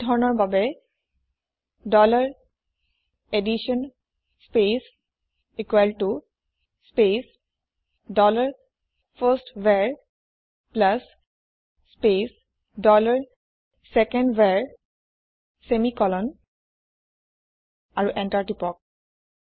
এই ধৰণৰ বাবে ডলাৰ এডিশ্যন স্পেচ ইকোৱেল ত space dollar first var plus space dollar second var semicolon আৰু এন্টাৰ প্ৰেছ কৰক